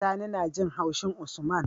Sani najin haushin usman